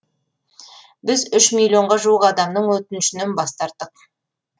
біз үш миллионға жуық адамның өтінішінен бас тарттық